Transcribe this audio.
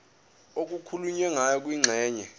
okukhulunywe ngayo kwingxenye